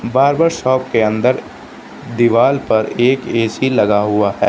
Barber shop के अंदर दीवाल पर एक ए_सी लगा हुआ है।